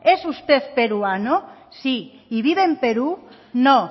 es usted peruano sí y vive en perú no